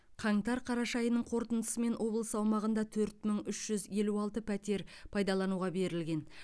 қаңтар қараша айының қорытындысымен облыс аумағында төрт мың үш жүз елу алты пәтер пайдалануға берілген